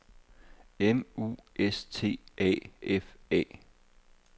M U S T A F A